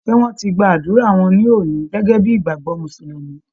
Ṣé wọ́n ti gba ádùrá wọn ní òní gẹ́gẹ́ bí ìgbàgbọ́ Mùsùlùmí?